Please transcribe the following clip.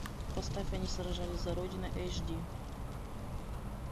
поставь они сражались за родину эйч ди